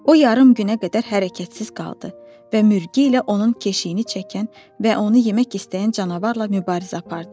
O yarım günə qədər hərəkətsiz qaldı və mürgü ilə onun keşiyini çəkən və onu yemək istəyən canavarla mübarizə apardı.